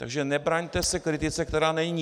Takže nebraňte se kritice, která není.